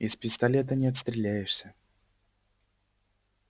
из пистолета не отстреляешься